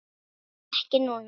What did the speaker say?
En ekki núna?